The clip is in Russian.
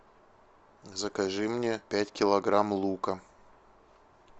закажи мне пять килограмм лука